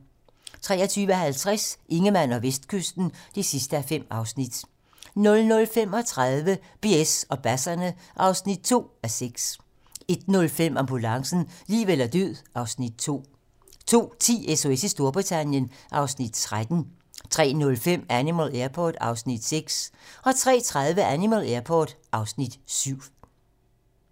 23:50: Ingemann og Vestkysten (5:5) 00:35: BS og basserne (2:6) 01:05: Ambulancen - liv eller død (Afs. 2) 02:10: SOS i Storbritannien (Afs. 13) 03:05: Animal Airport (Afs. 6) 03:30: Animal Airport (Afs. 7)